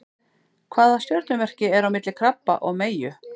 Hvaða stjörnumerki er á milli krabba og meyju?